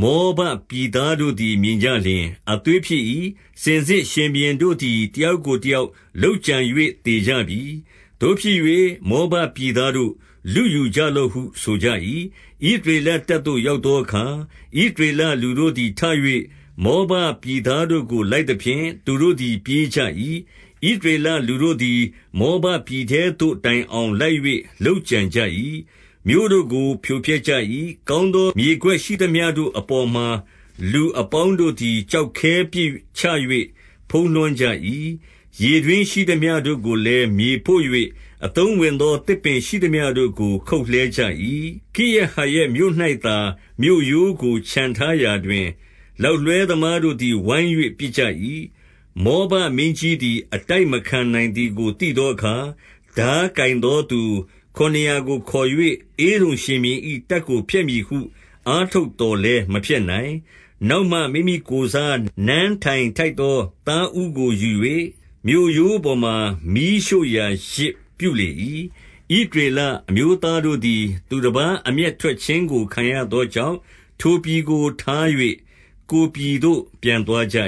မောဘပြည်သားတို့သည် မြင်ကြလျှင်၊ 23 အသွေးဖြစ်၏။ စင်စစ်ရှင်ဘုရင်တို့သည် တယောက်ကိုတယောက်လုပ်ကြံ၍ သေကြပြီ။ သို့ဖြစ်၍ မောဘပြည်သားတို့၊ လုယူကြလော့ဟု ဆိုကြ၏။ 24 ဣသရေလတပ်သို့ ရောက်သောအခါ၊ ဣသ ရေလလူတို့သည် ထ၍ မောဘပြည်သားတို့ကို လိုက် သဖြင့် သူတို့သည် ပြေးကြ၏။ ဣသရေလလူတို့သည် မောဘပြည်ထဲသို့တိုင်အောင် လိုက်၍ လုပ်ကြံကြ၏။ 25 မြို့တို့ကိုဖြိုဖျက်ကြ၏။ ကောင်းသော မြေကွက် ရှိသမျှတို့အပေါ်မှာ လူအပေါင်းတို့သည် ကျောက်ခဲ ပစ်ချ၍ ဖုံးလွှမ်းကြ၏။ ရေတွင်းရှိသမျှတို့ကိုလည်း မြေဖို့ ၍၊ အသုံးဝင်သော သစ်ပင်ရှိသမျှတို့ကို ခုတ်လှဲကြ၏။ ကိရဟရက်မြို့၌သာ မြို့ရိုးကို ချန်ထားရာတွင်၊လောက်လွှဲ သမားတို့သည် ဝိုင်း၍ ပစ်ကြ၏။ 26 မောဘမင်းကြီးသည် အတိုက်မခံနိုင်သည်ကို သိသောအခါ၊ ထားကိုင်သောသူခုနစ်ရာကို ခေါ်၍ ဧဒုံရှင်ဘုရင်၏ တပ်ကိုဖျက်မည်ဟု အားထုတ်သော် လည်း မဖျက်နိုင်။ 27 နောက်မှမိမိကိုယ်စား နန်းထိုင်ထိုက်သော သားဦးကို ယူ၍ မြို့ရိုးပေါ်မှာ မီးရှို့ရာယဇ်ပြုလေ၏။ ဣသရေလအမျိုးသားတို့သည် သူတပါးအမျက်ထွက်ခြင်း ကို ခံရသောကြောင့်၊ ထိုပြည်ကို ထား၍ ကိုယ်ပြည်သို့ ပြန်သွားကြ